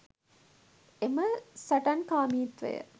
එම සටන්කාමීත්වය